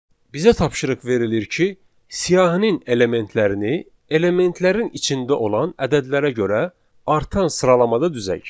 Bizə tapşırıq verilir ki, siyahının elementlərini elementlərin içində olan ədədlərə görə artan sıralamada düzək.